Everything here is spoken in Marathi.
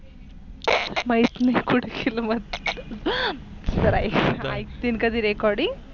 माहित नाही कुठे गेल म्हणून जर ऐकली कधी Recording